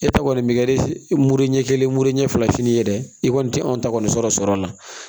E ta kɔni bɛ kɛ muru ɲɛ kelen mure ɲɛ fila fini ye dɛ i kɔni te anw ta kɔni sɔrɔ la